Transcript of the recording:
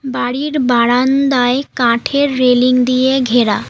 বাড়ির বারান্দায় কাঠের রেলিং দিয়ে ঘেরা।